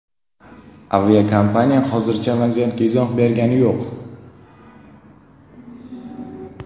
Aviakompaniya hozircha vaziyatga izoh bergani yo‘q.